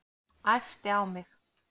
Æpti á mig.